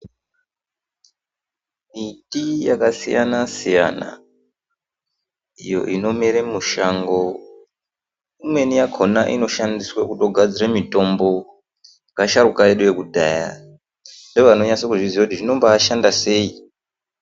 Miti yakasiyana siyana iyo inomere mushango imweni yakona inoshandiswe kutogadzore mitombo ngeasharuka edu ekudhaya ndovanonyase kuzviziya kuti zvinombashanda sei.